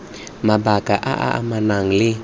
mabaka a a amanang le